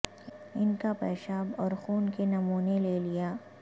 ان کا پیشاب اور خون کے نمونے لے لیا